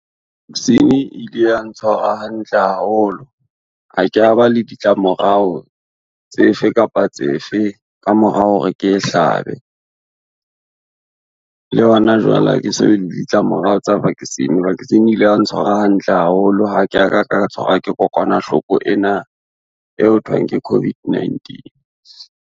Vaccine e ile ya ntshwara hantle haholo. Ha ke a ba le ditlamorao tsefe kapa tsefe ka mora hore ke e hlabe. Le hona jwale ha ke sobe le ditlamorao tsa vaccine, vaccine ile ya ntshwara hantle haholo ha ke a ka ka tshwarwa ke kokwanahloko ena e ho thwang ke COVID-19.